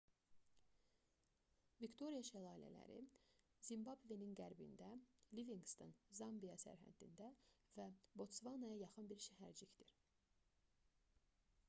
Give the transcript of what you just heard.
viktoria şəlalələri zimbabvenin qərbində livinqston zambiya sərhədində və botsvanaya yaxın bir şəhərcikdir